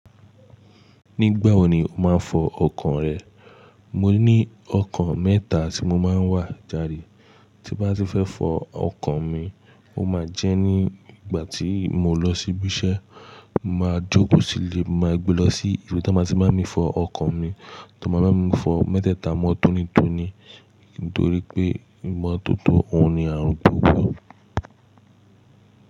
Nígbà wo ni o máa ń fọ ọkàn rẹ? Mo ní ọkọ̀ mẹ́ta tí mo máa ń wà jáde Tí n bá ti fẹ́ fọ ọkọ̀ mi, ó máa jẹ́ ní ìgbà tí mo lọ sí ibi iṣẹ́, n màá jókòó sílé, n màá gbe lọ sí ibi t'ọ́n máa ti ń bá mi fọ ọkọ̀ mi. Tó máa bá mi fọ mẹ́tẹ̀ẹ̀ta, mọ́ tónítóní nítorí pé ìmọ́tótó òun ni àrùn gbogbo.